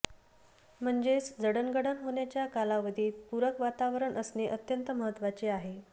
म्हणजेच जडणघडण होेण्याच्या कालावधीत पूरक वातावरण असणे अत्यंत महत्त्वाचे आहे